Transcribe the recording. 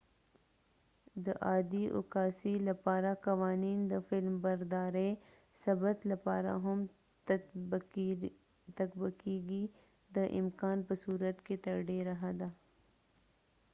د عادي عکاسۍ لپاره قوانین د فلمبردارۍ ثبت لپاره هم تطبقیږي د امکان په صورت کې تر ډیره حده